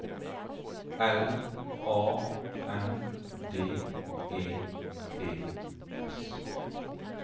L A N D E T S